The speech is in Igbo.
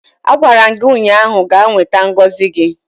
Agwara m gi ụnyahụ, gaa nweta ngozi gị!